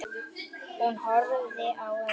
Hún horfði á Örn.